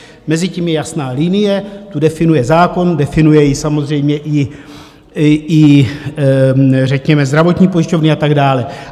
Mezi tím je jasná linie, tu definuje zákon, definují ji samozřejmě i řekněme zdravotní pojišťovny a tak dále.